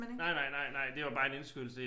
Nej nej nej nej det var bare en indskydelse